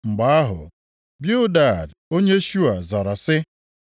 Mgbe ahụ Bildad onye Shua zara sị: